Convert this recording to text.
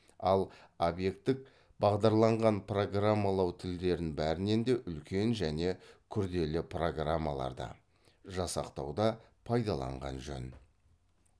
ал объектік бағдарланған программалау тілдерін бәрінен де үлкен және күрделі программаларды жасақтауда пайдаланған жөн